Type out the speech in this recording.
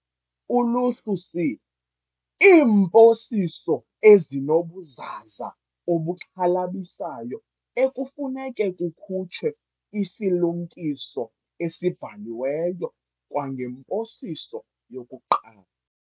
Uluhlu C- Iimposiso ezinobuzaza obuxhalabisayo ekufuneka kukhutshwe isilumkiso esibhaliweyo kwangemposiso yokuqala.